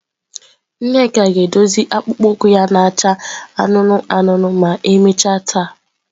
Nneka ga-edozi akpụkpọ ụkwụ ya na-acha anụnụ anụnụ ma emechaa taa.